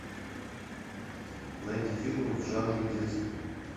найди фильмы в жанре детский